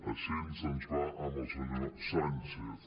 així ens va amb el senyor sánchez